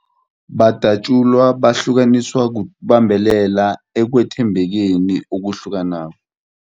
Badatjulwa, bahlukaniswa ukubambelela ekwethembekeni okuhlukanako.